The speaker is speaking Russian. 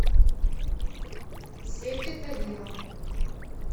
сети тагила